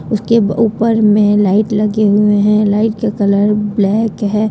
उसके ऊपर में लाइट लगे हुए हैं लाइट के कलर ब्लैक है।